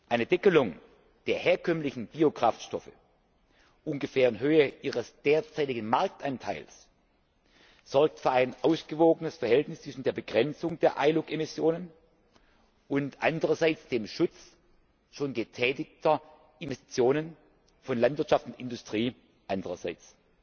Eine Deckelung der herkömmlichen Biokraftstoffe ungefähr in Höhe ihres derzeitigen Marktanteils sorgt für ein ausgewogenes Verhältnis zwischen der Begrenzung der ILUC Emissionen einerseits und dem Schutz schon getätigter Investitionen von Landwirtschaft und Industrie andererseits.